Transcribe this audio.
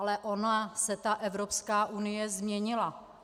Ale ona se ta Evropská unie změnila.